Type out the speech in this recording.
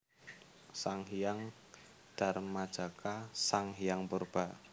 Sang Hyang Darmajaka Sang Hyang Purba